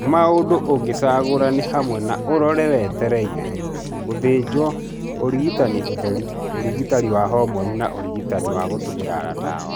maũndũ ũngĩcagũra nĩ hamwe na ũrore wetereire, gũthinjo, ũrigitani ũtheri, ũrigitani wa hormoni na ũrigitani wa gũtũmĩra dawa.